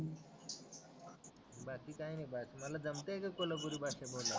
बाकी काही नाही बात मला जमते कि कोल्हापुरी भाषा बोलायला